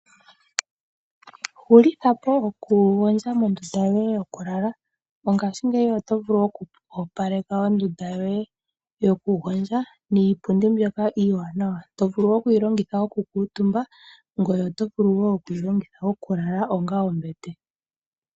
Hulithapo okugondja mondunda yoye yokulala, mongashingeyi okoopaleka ondunda yoye yokugondja niipundi mbyoka iiwanawa. Oto vulu okuyi longitha okukuutumba, ngoye tovulu wo okuyi longitha okulala onga ombete.